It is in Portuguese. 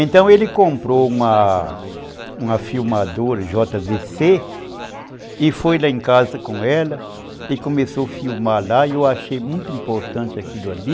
Então ele comprou uma uma filmadora jota vê cê e foi lá em casa com ela e começou a filmar lá e eu achei muito importante aquilo ali.